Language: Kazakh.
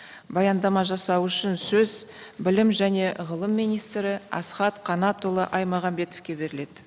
баяндама жасау үшін сөз білім және ғылым министрі асхат қанатұлы аймағамбетовке беріледі